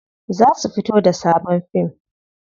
Za su fito da sabon fim.